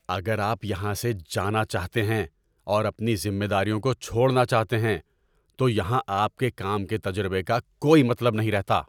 اگر آپ یہاں سے جانا چاہتے ہیں اور اپنی ذمہ داریوں کو چھوڑنا چاہتے ہیں تو یہاں آپ کے کام کے تجربے کا کوئی مطلب نہیں رہتا۔